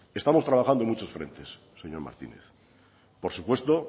estamos trabajando en muchos frentes señor martínez por supuesto